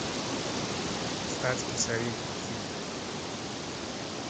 статский советник фильм